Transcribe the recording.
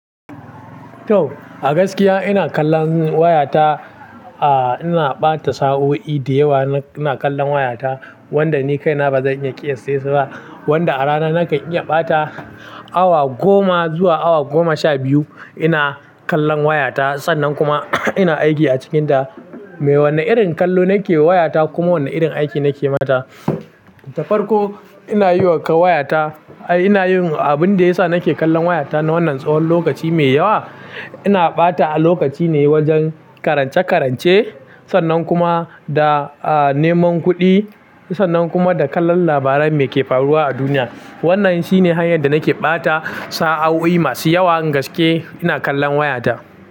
To, a gaskiya ina kallon wayata, a ina ɓata sa'o'i da yawa ina kallon wayata wanda ni kaina ba zan iya ƙiyaye sassa ba wanda a rana nakan iya ɓata awa goma zuwa awa goma sha biyu ina kallon wayata. Sannan kuma ina aiki a cikinta. Me wane irin kallo nake yi wa wayata kuma wane irin aiki nake mata? Ta farko ina yi wa kan wayata, ai ina yin abin da yasa nake kallon wayata na wannan tsahon lokaci mai yawa. Ina ɓata a lokaci ne wajen karance-karance sannan kuma da, a, neman kuɗi sannan kuma da kallon labaran me ke faruwa a duniya. Wannan shine hanyar da nake ɓata sa'o'i masu yawa in gaske ina kallon wayata.